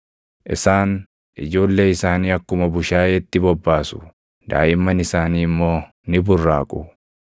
Isaan ijoollee isaanii akkuma bushaayeetti bobbaasu; daaʼimman isaanii immoo ni burraaqu.